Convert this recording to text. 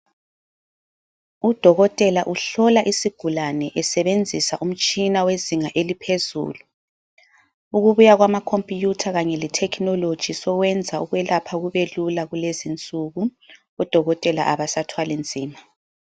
Udokotela uhlola isigulane esebenzisa umtshina wezinga eliphezulu. Ukubuya kwamakhompiyutha kanye lethekhinoloji sokwenza ukwelapha kubelula kulezinsuku, odokotela abasathwali nzima.